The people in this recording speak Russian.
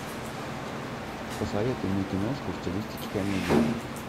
посоветуй мне киношку в стилистике комедии